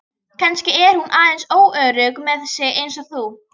Kannski er hún aðeins óörugg með sig eins og þú.